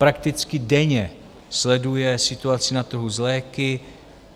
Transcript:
Prakticky denně sleduje situaci na trhu s léky.